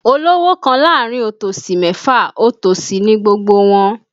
Olówò kan láàrin otòsì mẹ́fa, otòsì ni gbogbo wọn